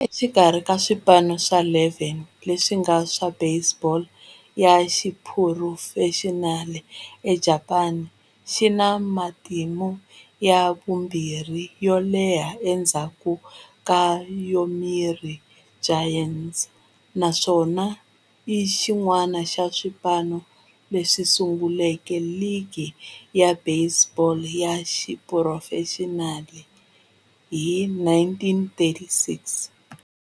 Exikarhi ka swipano swa 12 leswi nga kona swa baseball ya xiphurofexinali eJapani, yi na matimu ya vumbirhi yo leha endzhaku ka Yomiuri Giants, naswona i xin'wana xa swipano leswi sunguleke ligi ya baseball ya xiphurofexinali hi 1936.